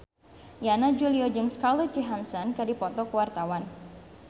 Yana Julio jeung Scarlett Johansson keur dipoto ku wartawan